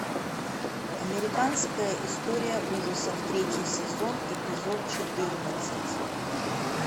американская история ужасов третий сезон эпизод четырнадцать